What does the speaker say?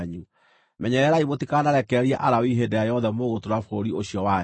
Menyererai mũtikanarekererie Alawii hĩndĩ ĩrĩa yothe mũgũtũũra bũrũri ũcio wanyu.